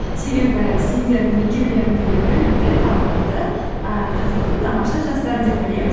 себебі сендердің екеулеріңді де білімді талантты ііі қазақтың тамаша жастары деп білеміз